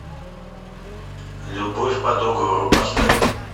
любовь по договору поставь